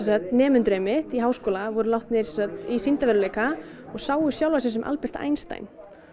nemendur í háskóla voru látnir í sýndarveruleika og sáu sjálfa sig sem Albert Einstein